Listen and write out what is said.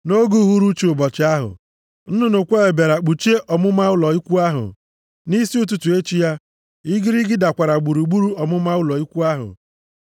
Nʼoge uhuruchi ụbọchị ahụ, nnụnụ kweel + 16:13 Ya bụ ọkụkụ ọgazị bịara kpuchie ọmụma ụlọ ikwu ahụ. Nʼisi ụtụtụ echi ya, igirigi dakwara gburugburu ọmụma ụlọ ikwu ahụ.